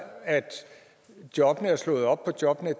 at jobbene blev slået op på jobnet